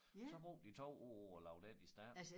Så brugte de 2 år på at lave den i stand